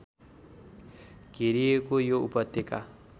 घेरिएको यो उपत्यका